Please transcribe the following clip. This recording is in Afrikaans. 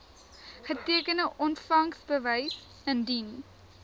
getekende ontvangsbewys indien